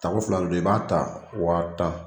Tako fila de do i b'a ta wa tan.